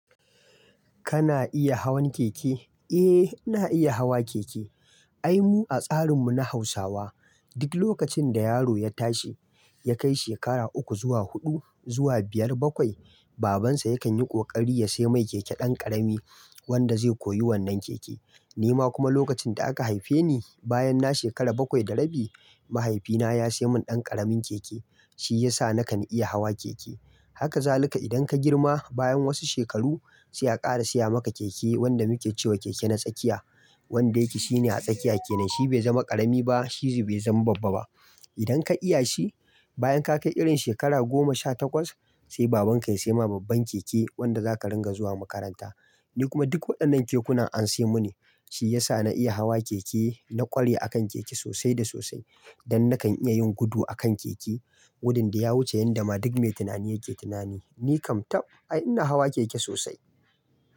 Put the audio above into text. Kana iya hawan keke? Eh, ina iya hawa keke. Ai mu a tsarin mu na Hausawa, duk lokacin da yaro ya tashi, ya kai shekara uku zuwa huɗu zuwa biyar bakwai, babansa yakan yi ƙoƙari ya sai mai keke ɗan ƙarami wanda zai koyi wannan keke. Ni ma kuma lokacin da aka haife ni, bayan na shekara bakwai da rabi, mahaifina ya sai mun ɗan ƙaramin keke. Shi ya sa na kan iya hawa keke. Haka za ka, idan ka girma, bayan wasu shekaru, sai a ƙara siya maka keke wanda muke cewa keke na tsakiya. Wanda yake shine a tsakiya kenan. Shi bai zama ƙarami ba, shi zai zama babba ba. Idan ka iya shi, bayan ka kai irin shekara goma sha takwas, sai baban ka ya sai ma babban keke, wanda zaka ringa zuwa makaranta. Ni kuma duk waɗannan kekunan an siyan muni. Shi ya sa na iya hawa keke, na ƙware akan keke sosai da sosai, don na kan iya yin gudu a kan keke. Gudun da ya wuce yanda ma duk mai tunani yake tunani. Ni kam tab, ai ina hawa keke sosai.